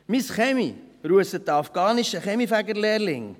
Meinen Kamin russt ein afghanischer Kaminfegerlehrling.